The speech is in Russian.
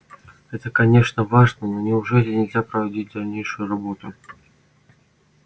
это конечно важно но неужели нельзя проводить дальнейшую работу